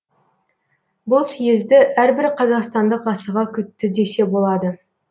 бұл съезді әрбір қазақстандық асыға күтті десе болады